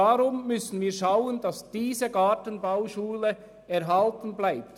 Darum müssen wir schauen, dass diese Gartenbauschule erhalten bleibt.